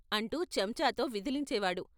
అంటూ చెంచాతో విదిలించేవాడు.